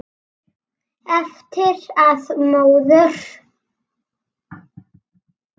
Eftir að móður